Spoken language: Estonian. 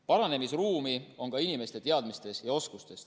Paranemisruumi on ka inimeste teadmistes ja oskustes.